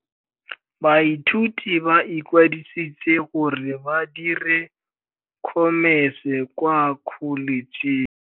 Baithuti ba ikwadisitse gore ba dire Khomese kwa Kholetšheng.